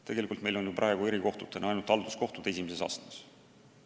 Tegelikult on meil praegu erikohtutena olemas ainult halduskohtud esimeses astmes.